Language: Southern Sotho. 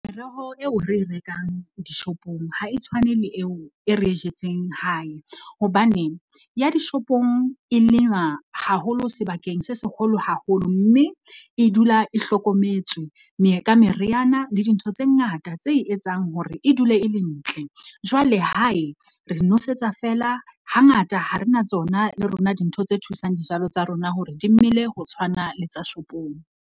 Meroho eo re e rekang dishopong ha e tshwane le eo e re e jetseng hae, hobane ya dishopong e lenywa haholo sebakeng se seholo haholo, mme e dula e hlokometswe ka meriana le dintho tse ngata tse etsang hore e dule e le ntle. Jwale hae re nosetsa feela hangata ha re na tsona le rona dintho tse thusang dijalo tsa rona hore dimele ho tshwana le tsa shopong.